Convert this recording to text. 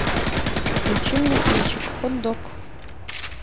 включи мне кинчик хот дог